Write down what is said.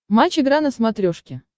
матч игра на смотрешке